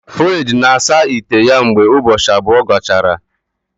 Fred na-asa ite ya mgbe ụbọchị abụọ gachara